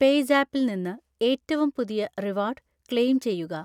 പേയ്‌സാപ്പിൽ നിന്ന് ഏറ്റവും പുതിയ റിവാർഡ് ക്ലെയിം ചെയ്യുക